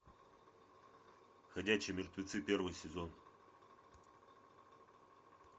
ходячие мертвецы первый сезон